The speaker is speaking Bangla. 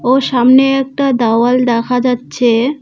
ও সামনে একটা দাওয়াল দেখা যাচ্ছে।